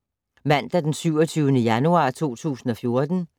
Mandag d. 27. januar 2014